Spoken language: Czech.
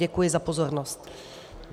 Děkuji za pozornost.